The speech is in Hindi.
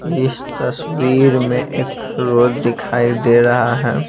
इस तस्वीर में एक रोड दिखाई दे रहा है।